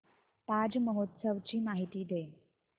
ताज महोत्सव ची माहिती दे